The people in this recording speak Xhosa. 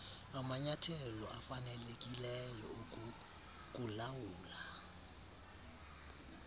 amanyathelo afanelekileyo okukulawula